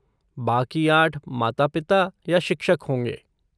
बाकी आठ माता पिता या शिक्षक होंगे।